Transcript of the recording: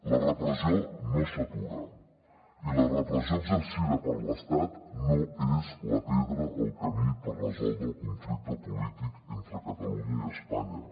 la repressió no s’atura i la repressió exercida per l’estat no és la pedra al camí per resoldre el conflicte polític entre catalunya i espanya